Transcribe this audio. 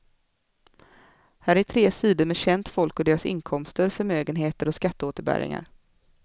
Här är tre sidor med känt folk och deras inkomster, förmögenheter och skatteåterbäringar.